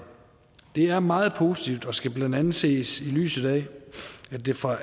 det er meget positivt og skal blandt andet ses i lyset af at det fra